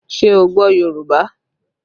Ṣé o gbọ́ Yorùbá?